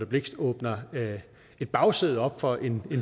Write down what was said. blixt åbner et bagsæde op for en